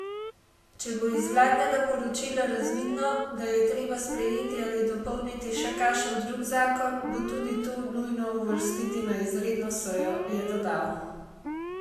Če bo iz vladnega poročila razvidno, da je treba sprejeti ali dopolniti še kakšen drug zakon, bo tudi to nujno uvrstiti na izredno sejo, je dodal.